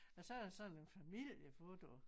Og så er der sådan en familiefoto